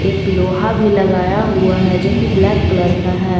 एक लोहा भी लगाया हुआ है जो की ब्लैक कलर का है।